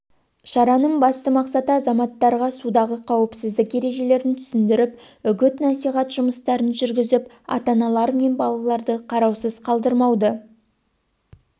шараның басты мақсаты азаматтарға судағы қауіпсіздік ережелерін түсіндіріп үгіт-насихат жұмыстарын жүргізіп ата-аналар мен балаларды қараусыз қалдырмауды